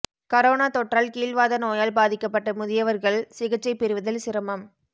corona தொற்றால் கீல்வாத நோயால் பாதிக்கப்பட்ட முதியவா்கள் சிகிச்சை பெறுவதில் சிரமம்